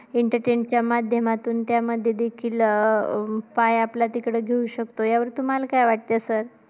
Entertain च्या माध्यमातून त्यामध्ये देखील अं पाया आपला तिकडे घेऊ शकतो. याबद्दल तुम्हाला काय वाटतंय sir?